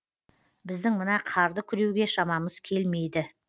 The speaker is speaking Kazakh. біздің мына қарды күреуге шамамыз келмейді